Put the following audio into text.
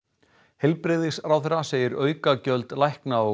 heilbrigðisráðherra segir aukagjöld lækna og